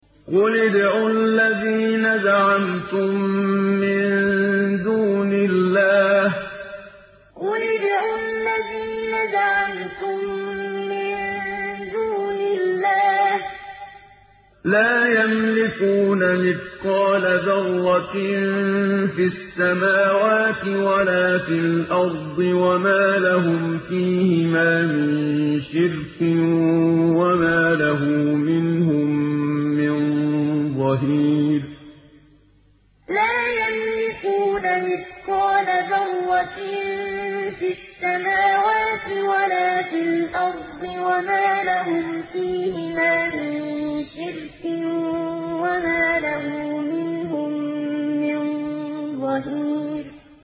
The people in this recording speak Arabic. قُلِ ادْعُوا الَّذِينَ زَعَمْتُم مِّن دُونِ اللَّهِ ۖ لَا يَمْلِكُونَ مِثْقَالَ ذَرَّةٍ فِي السَّمَاوَاتِ وَلَا فِي الْأَرْضِ وَمَا لَهُمْ فِيهِمَا مِن شِرْكٍ وَمَا لَهُ مِنْهُم مِّن ظَهِيرٍ قُلِ ادْعُوا الَّذِينَ زَعَمْتُم مِّن دُونِ اللَّهِ ۖ لَا يَمْلِكُونَ مِثْقَالَ ذَرَّةٍ فِي السَّمَاوَاتِ وَلَا فِي الْأَرْضِ وَمَا لَهُمْ فِيهِمَا مِن شِرْكٍ وَمَا لَهُ مِنْهُم مِّن ظَهِيرٍ